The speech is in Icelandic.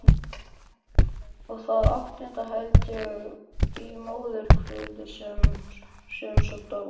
Og það áttunda held ég í móðurkviði sem svo dó.